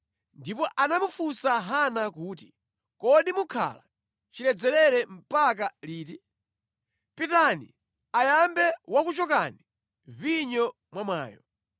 Ndipo anamufunsa Hana kuti, “Kodi mukhala chiledzerere mpaka liti? Pitani, ayambe wakuchokani vinyo mwamwayo.”